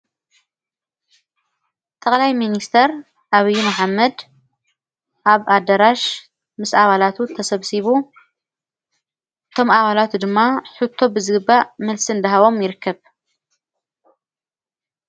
ቕላይ ምንስተር ኣብዪ ኣሓመድ ኣብ ኣደራሽ ምስ ኣባጠላቱ ተሰብሲቡ ቶም ኣባላቱ ድማ ሕቶ ብዝግባእ ምልስን ደሃቦም ይርከብ።